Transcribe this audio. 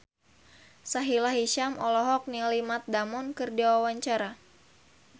Sahila Hisyam olohok ningali Matt Damon keur diwawancara